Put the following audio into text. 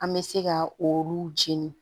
An bɛ se ka olu jeni